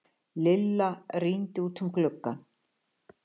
Lilla rýndi út um gluggann.